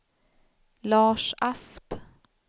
Lars Asp